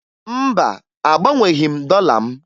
Mba, agbanweghi m dọla m